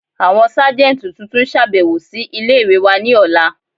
Àwọn sáàjẹntí tuntun n ṣàbẹ̀wò sí ilẹ̀-ìwé wà ni òla.